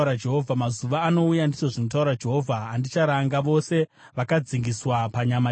“Mazuva anouya,” ndizvo zvinotaura Jehovha, “andicharanga vose vakadzingiswa panyama chete,